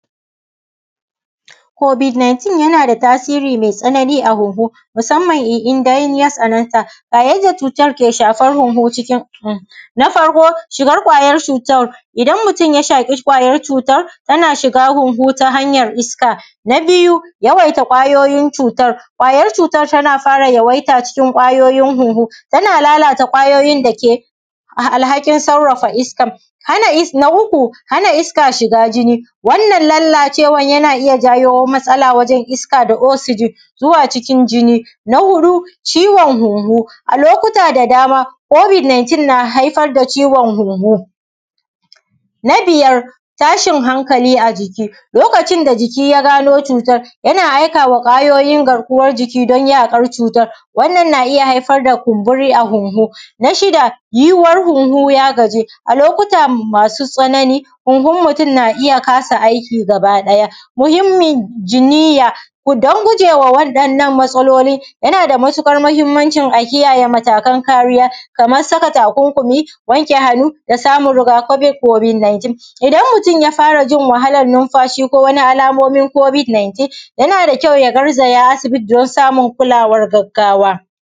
Kobid-19 yana da tasiri mai tsanani a guguwa, musamman irin dare ya tsananta yayin cutan dake shafa huhu cikin seh na farko: shigar ƙwayar cutar. idan mutum ya shafi ƙwayar cutar, yana shiga huhu ta hanyan iska, na biyu: da yawaita ƙwayoyin cutan ƙwayar cutar yana fara cikin ƙwayoyin huhu, yana lalata ƙwayoyin dake alhaƙin sarrafa iska. Na uuu: hana iska shiga jini, wannan lallacewan yana iya janyo matsala wajen iska da osigin zuwa cikin jini; na huɗu: ciwon huhu a lokuta da dama kobid-19 na haifar da ciwon huhu. Na biyar: tashin hanƙali a jiki. lokacin da jiki ya gano cutar, yana aikawa ƙwayoyin garkuwan jiki don yaƙar cutar, wannan na iya haifar da kumburi a huhu. Na shida: yinwan huhu ya gaji a lokuta masu tsanani, huhun mutum na iya kasa aiki gabaɗaya. Muhimmin jiniya: don guje waɗannan matsaloli, yana da matuƙar mahimmancin a kiyaye matakan kariya kaman: saka takunkumi, wanke hanu, da samu rigakafin kobid-19. Idan mutum ya fara jin wahalan numfashi ko wani alamomin kobid-19, yana da kyau ya garzaya asibiti don samun kulawan gaggawa